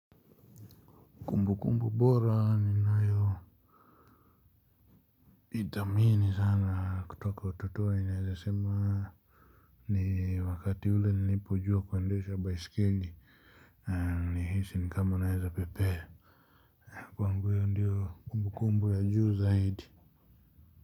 Kumbukumbu bora ninayoithamini sana kutoka utotoni naweza sema ni wakati ule nilipojua kuendesha baiskeli. Nilihisi kama naweza pepea. Kwangu hiyo ndiyo kumbukumbu ya juu zaidi.